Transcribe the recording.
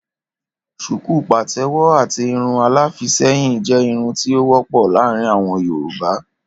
Ṣùkú patẹwọ àti Irun aláfiisẹ́yìn jẹ́ Irun tí o wọ́pọ̀ láàrin àwọn Yorùbá.